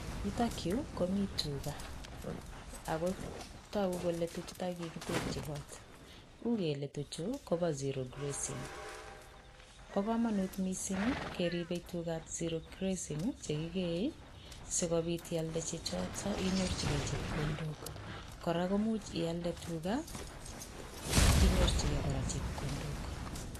Yutok yuu Komi tugaa ako toguu kole tuchuton kokikitegyii kot, ukele tuchu kobo zero grazing .Bo komonut missing keribe tuchuton che kigeei sikobiit older chegoo choyon inyorchigei chepkondok. Kor a komuch ialdee tugaa inyorchigei kora chepkondok